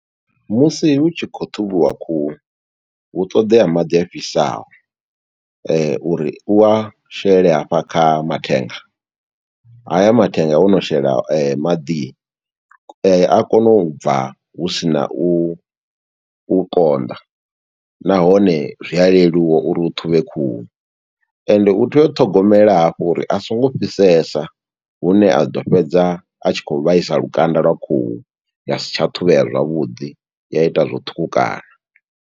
Musi hu tshi khou ṱhuvhiwa khuhu, hu ṱoḓea maḓi afhisaho, uri u a shele hafha kha mathenga, haya mathenga wono shela maḓi, a kona u bva husina u u konḓa. Nahone zwi a leluwa uri u ṱhuvhe khuhu, ende u tea u ṱhogomela hafhu uri a songo fhisesa hune a ḓo fhedza, a tshi khou vhaisa lukanda lwa khuhu, ya si tsha ṱhuvhea zwavhuḓi, ya ita zwo ṱhukhukana.